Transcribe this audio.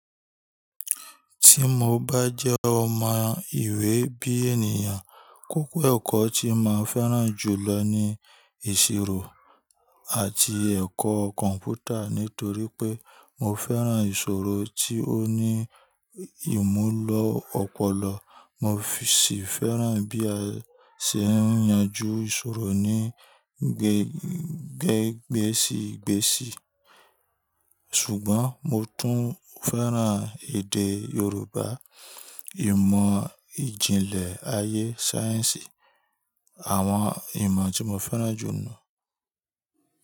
Ti mo ba jẹ́ ọmọ ìwé bí ènìyàn, kókó ẹ̀kọ́ tí màá fẹ́ràn jùlọ ni ìṣirò àti ẹ̀kọ́ kọ̀m̀pútà. Nítorí pé mo fẹ́ràn ìṣòro tí ó ní ìmùlọ̀ ọ̀pọ̀lọ̀, mo sì fẹ́ràn bí a ṣe ń yanjú ìṣòro ní gẹ́gbsìgbẹ̀sì. Ṣùgbọ́n mo tún fẹ́ràn èdè Yorùbá, ìmọ̀ ìjìnlẹ̀ ayé sáyẹ́ǹsì àwọn ìmọ̀ tí mo fẹ́ràn jù nù.